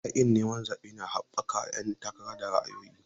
Yaƙin neman zaɓe na haɓaka ƴan takara da ra'ayoyi.